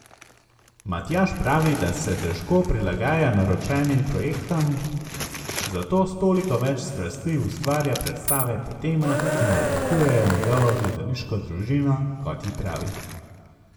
Matjaž pravi, da se težko prilagaja naročenim projektom, zato s toliko več strasti ustvarja predstave po temah, ki navdihujejo njegovo gledališko družino, kot ji pravi.